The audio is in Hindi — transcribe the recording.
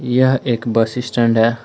यह एक बस स्टैंड है।